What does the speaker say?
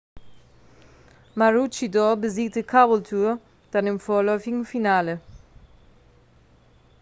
maroochydore besiegte caboolture dann im vorläufigen finale